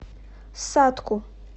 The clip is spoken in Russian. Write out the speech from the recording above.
сатку